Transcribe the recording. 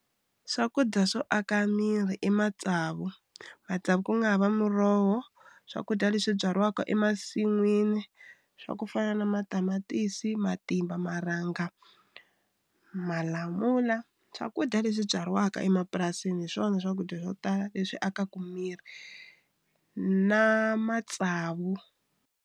Swakudya swo aka miri i matsavu matsavu ku nga ha va muroho swakudya leswi byariwaka emasin'wini swa ku fana na matamatisi, matimba, marhanga, malamula swakudya leswi byariwaka emapurasini hi swona swakudya swo tala leswi akaka miri na matsavu.